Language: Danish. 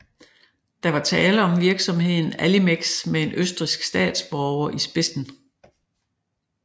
Der var tale om virksomheden Allimex med en østrigsk statsborger i spidsen